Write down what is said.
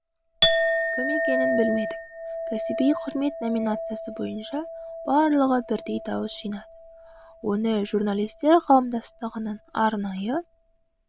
кім екенін білмедік кәсіби құрмет номинациясы бойынша барлығы бірдей дауыс жинады оны журналистер қауымдастығының арнайы